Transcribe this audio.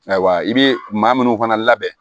Ayiwa i bɛ maa minnu fana labɛn